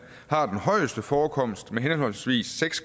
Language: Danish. har den højeste forekomst med henholdsvis seks